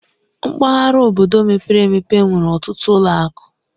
Mpaghara obodo mepere emepe nwere ọtụtụ ụlọ akụ.